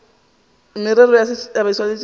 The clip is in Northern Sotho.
merero ya setšhaba e swanetše